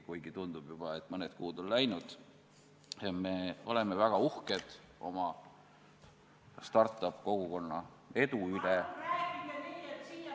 Kuigi tundub juba, et mõned kuud on läinud ja me oleme väga uhked oma start-up-kogukonna edu üle.